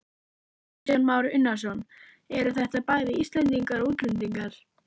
Kristján Már Unnarsson: Eru þetta bæði Íslendingar og útlendingar?